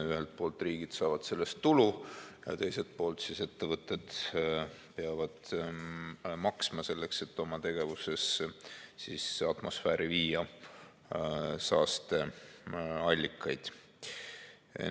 Ühelt poolt riigid saavad sellest tulu ja teiselt poolt ettevõtted peavad maksma, selleks et oma tegevuses atmosfääri viia saasteaineid.